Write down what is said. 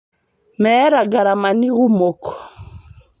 Meeta garamani kumok